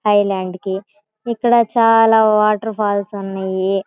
Island కి ఇక్కడ చాలా వాటర్ ఫాల్స్ ఉన్నయి.